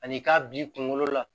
Ani i k'a bil'i kunkolo la